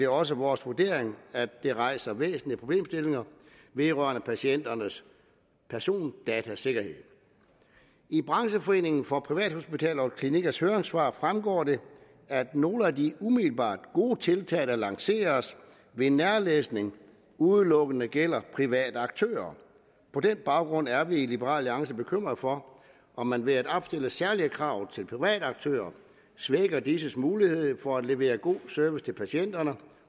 også vores vurdering at det rejser væsentlige problemstillinger vedrørende patienternes persondatasikkerhed i brancheforeningen for privathospitaler og klinikkers høringssvar fremgår det at nogle af de umiddelbart gode tiltag der lanceres ved nærlæsning udelukkende gælder private aktører på den baggrund er vi i liberal alliance bekymrede for om man ved at opstille særlige krav til private aktører svækker disses mulighed for at levere god service til patienterne